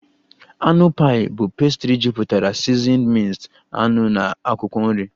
Anụ pie bụ pastry jupụtara seasoned minced anụ na akwụkwọ nri